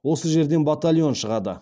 осы жерден батальон шығады